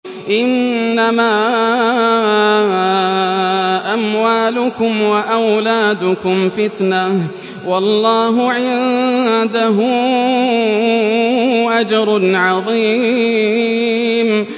إِنَّمَا أَمْوَالُكُمْ وَأَوْلَادُكُمْ فِتْنَةٌ ۚ وَاللَّهُ عِندَهُ أَجْرٌ عَظِيمٌ